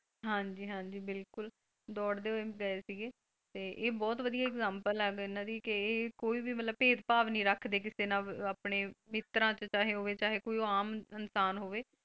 ਹਾਂਜੀ ਹਾਂਜੀ ਬਿਲਕੁਲ ਦੌੜਦੇ ਹੋਏ ਗਏ ਸੀਗੇ ਤੇ ਇਹ ਬਹੁਤ ਵਧੀਆ ਇਗਜਾਮਪਲ ਹੈ ਇਹਨਾਂ ਦੀ ਕਿ ਇਹ ਕੋਈ ਵੀ ਮਤਲਬ ਭੇਦ ਭਾਵ ਨਹੀਂ ਰੱਖਦੇ ਕਿਸੇ ਨਾਲ ਆਪਣੇ ਮਿੱਤਰਾਂ ਚ ਚਾਹੇ ਹੋਵੇ ਚਾਹੇ ਕੋਈ ਉਹ ਆਮ ਇਨਸਾਨ ਹੋਵੇ,